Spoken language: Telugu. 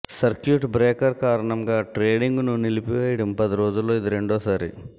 సర్క్యూట్ బ్రేకర్ కారణంగా ట్రేడింగ్ను నిలిపేయడం పది రోజుల్లో ఇది రెండోసారి